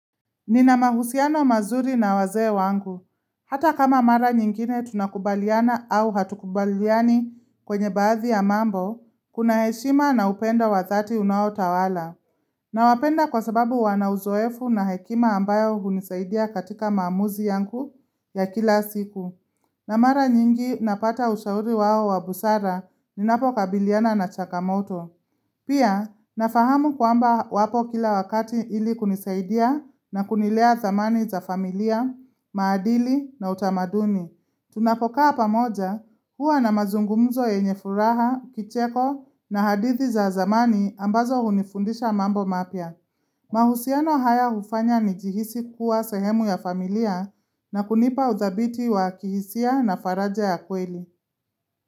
Nina mahusiano mazuri na wazee wangu. Hata kama mara nyingine tunakubaliana au hatukubaliani kwenye baadhi ya mambo, kuna heshima na upendo wa thati unaotawala. Na wapenda kwa sababu wanauzoefu na hekima ambayo hunisaidia katika maamuzi yangu ya kila siku. Na mara nyingi napata ushauri wao wa busara ninapo kabiliana na chakamoto. Pia, nafahamu kwamba wapo kila wakati ili kunisaidia na kunilea zamani za familia, maadili na utamaduni. Tunapokaa pamoja huwa na mazungumzo ya nyefuraha, kicheko na hadithi za zamani ambazo hunifundisha mambo mapya. Mahusiano haya hufanya nijihisi kuwa sehemu ya familia na kunipa uzabiti wa kihisia na faraja ya kweli.